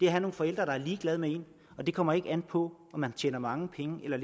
at have nogle forældre der er ligeglade med en og det kommer ikke an på om man tjener mange penge eller